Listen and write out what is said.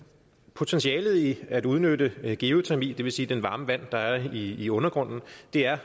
potentialet i at udnytte geotermi det vil sige det varme vand der er i undergrunden er